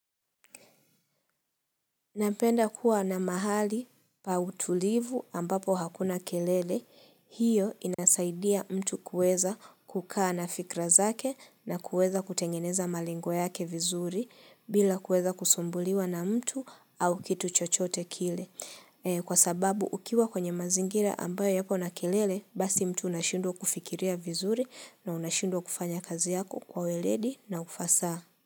Napenda kuwa na mahali pa utulivu ambapo hakuna kelele, hiyo inasaidia mtu kuweza kukaa na fikra zake na kueza kutengeneza malengo yake vizuri bila kueza kusumbuliwa na mtu au kitu chochote kile. Kwa sababu ukiwa kwenye mazingira ambayo yako na kelele, basi mtu unashindwa kufikiria vizuri na unashindwa kufanya kazi yako kwa weledi na ufasaha.